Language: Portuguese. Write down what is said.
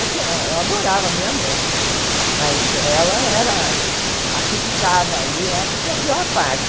Eu tinha eu adorava a minha mãe, mas ela era a que ficava ali, a que tinha a pior parte.